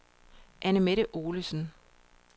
Anne-Mette Olesen